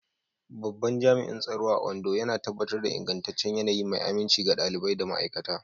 Babban Jami'in Tsaro a Ondo yana tabbatar da ingantaccen yanayi mai aminci ga ɗalibai da ma'aikata.